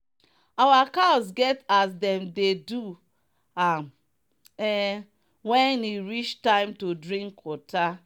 our cows get as them dey do am um when e reach time to drink water.